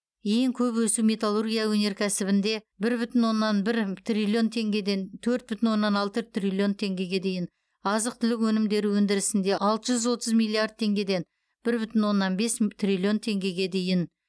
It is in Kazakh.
ең көп өсу металлургия өнеркәсібінде бір бүтін оннан бір триллион теңгеден төрт бүтін оннан алты триллион теңгеге дейін азық түлік өнімдері өндірісінде алты жүз отыз миллиард теңгеден бір бүтін оннан бес триллион теңгеде дейін